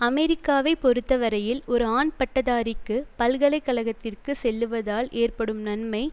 அமெரிக்காவை பொறுத்த வரையில் ஒரு ஆண் பட்டதாரிக்கு பல்கலை கழகத்திற்கு செல்லுவதால் ஏற்படும் நன்மை